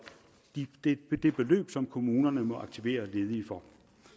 det beløb som kommunerne må aktivere ledige for